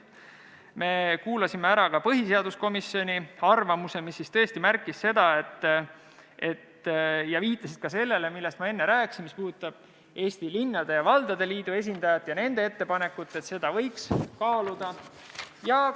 Me kuulasime ära ka põhiseaduskomisjoni arvamuse, kus märgiti seda ja viidati sellele, millest ma enne rääkisin, see oli Eesti Linnade ja Valdade Liidu ettepanek, mida võiks kaaluda.